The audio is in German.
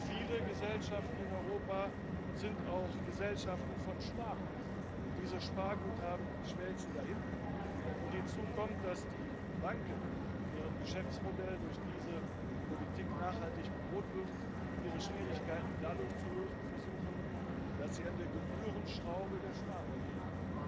Viele Gesellschaften in Europa sind auch Gesellschaften von Sparern, und diese Sparguthaben schmelzen dahin, und hinzu kommt, dass die Banken, deren Geschäftsmodell durch diese Politik nachhaltig bedroht wird, ihre Schwierigkeiten dadurch zu lösen versuchen, dass sie an der Gebührenschraube der Sparer drehen.